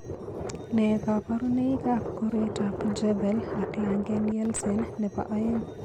Nee kabarunoikab koroitoab Jervell ak Lange Nielsen nebo aeng'?